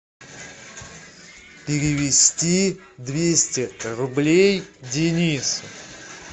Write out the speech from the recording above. перевести двести рублей денису